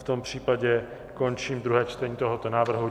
V tom případě končím druhé čtení tohoto návrhu.